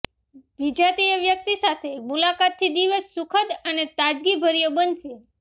વિજાતીય વ્યક્તિ સાથે મુલાકાતથી દિવસ સુખદ અને તાજગીભર્યો બનશે